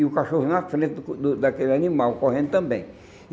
E o cachorro na frente do daquele animal, correndo também.